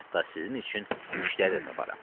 Hətta sizin üçün müştəri də taparam.